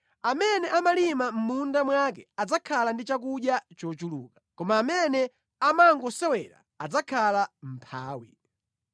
Amene amalima mʼmunda mwake adzakhala ndi chakudya chochuluka, koma amene amangosewera adzakhala mʼmphawi.